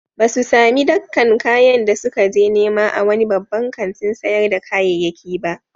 Ba su sami dakkan kayan da suka je nema a wani babban kantin sayar da kayayyaki ba.